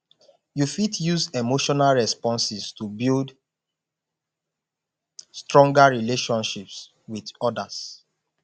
you fit use emotional responses to build stronger relationship with others